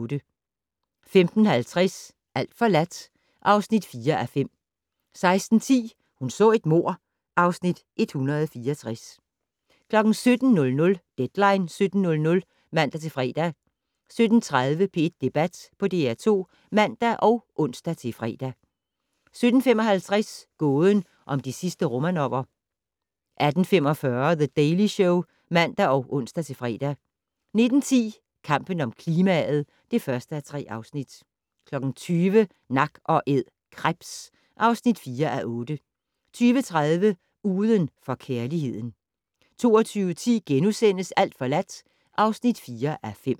15:50: Alt forladt (4:5) 16:10: Hun så et mord (Afs. 164) 17:00: Deadline 17.00 (man-fre) 17:30: P1 Debat på DR2 (man og ons-fre) 17:55: Gåden om de sidste Romanover 18:45: The Daily Show (man og ons-fre) 19:10: Kampen om klimaet (1:3) 20:00: Nak & Æd - krebs (4:8) 20:30: Uden for kærligheden 22:10: Alt forladt (4:5)*